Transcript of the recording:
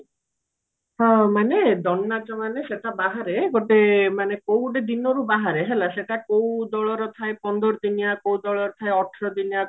ହଁ ମାନେ ଦଣ୍ଡ ନାଚ ମାନେ ସେଟା ବାହାରେ ଗୋଟେ ମାନେ କୋଉ ଗୋଟେ ଦିନରୁ ବାହାରେ ହେଲା ସେଟା କୋଉ ଦଳର ଥାଏ ପନ୍ଦର ଦିନିଆ କୋଉ ଦଳର ଥାଏ ଅଠର ଦିନିଆ